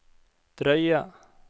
drøye